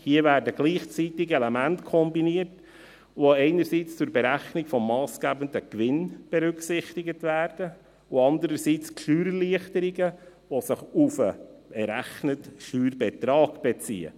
Hier werden gleichzeitig Elemente kombiniert, die einerseits zur Berechnung des massgebenden Gewinns berücksichtigt werden, und andererseits die Steuererleichterungen, die sich auf den errechneten Steuerbetrag beziehen.